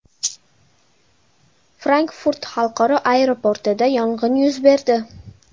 Frankfurt xalqaro aeroportida yong‘in yuz berdi.